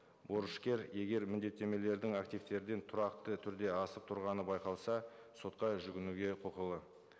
борышкер егер міндеттемелердің активтерден тұрақты түрде асып тұрғаны байқалса сотқа жүгінуге құқылы